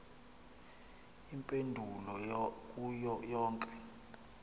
iimpendulo kuyo yonke